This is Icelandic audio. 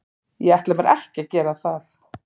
Ég ætla mér ekki að gera það.